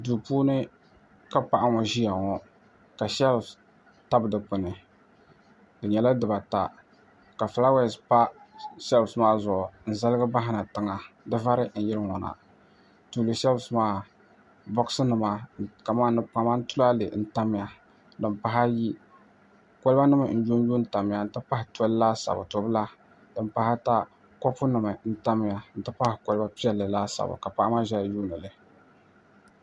duu puuni ka paɣa ŋɔ ʒia ŋɔ ka shɛlifu tabi dikpuni di nyɛla dibaata ka fulaawaasi pa shɛlifu maa zuɣu n-zaligi bahina tiŋa di vari n-yiri ŋɔ na tuuli shɛlifu maa bɔgisinima ni kpama kamani tulaale n-tanya din pahi ayi kɔlibanima n-lunlu n-tamya nti pahi toli laasabu to' bila din pahi ata kopunima n-tamya nti pahi kɔliba piɛlli laasabu ka paɣa maa zaya n-yuundi li